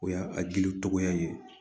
O y'a a gili tɔgɔya ye